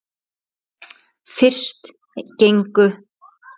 Fyrst gengu